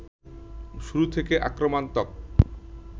শুরু থেকে আক্রমণাত্মক